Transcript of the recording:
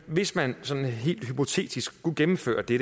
hvis man sådan helt hypotetisk skulle gennemføre det